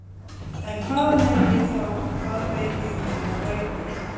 En hvaðan er ég þá og hvað veit ég um mínar rætur?